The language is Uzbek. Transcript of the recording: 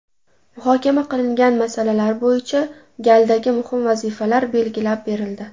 Muhokama qilingan masalalar bo‘yicha galdagi muhim vazifalar belgilab berildi.